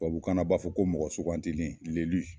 Tababukan na b'a fɔ ko mɔgɔ sugantili